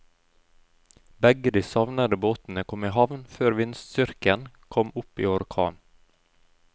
Begge de savnede båtene kom i havn før vindstyrken kom opp i orkan.